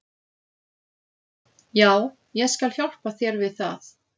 Já, ég skal hjálpa þér við það.